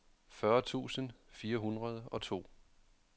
fyrre tusind fire hundrede og to